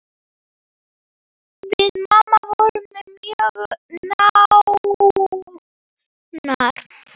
Við mamma vorum mjög nánar.